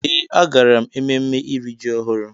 Ee agara m ememme iri ji ọhụrụ.